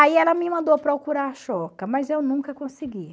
Aí ela me mandou procurar a mas eu nunca consegui.